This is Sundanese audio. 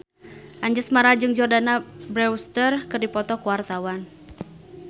Anjasmara jeung Jordana Brewster keur dipoto ku wartawan